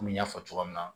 Komi n y'a fɔ cogoya min na